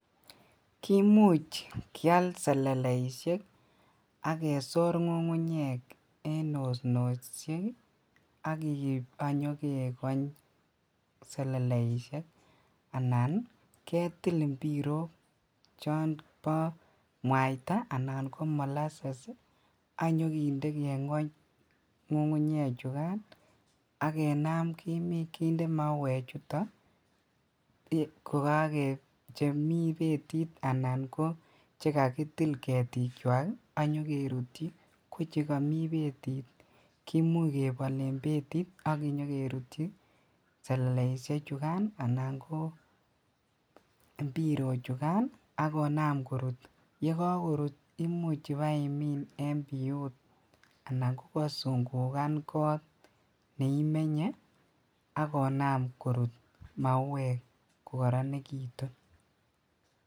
Kimuch kial seleleisiek ak kesor ngungunyek en osnosiek ak keib ak nyokegony seleleisiek anan ketil imbirok chon bo mwaita anan ko molasses ii ak nyokinde kegony ngungunyekan ak kinam kinde mauchoto chemi betit anan koche kakitil ketikwak ak nyokerutyi ko chekomi betit komuch kebol ak kinyokerutyi seleleisiechukan anan ko imbirochukan ak konam korut imuch ibeimin en biut anan kokosungugan kot neimenye ak konam korut mauek kokoronekitun.